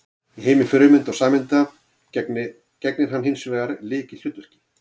Í heimi frumeinda og sameinda gegnir hann hins vegar lykilhlutverki.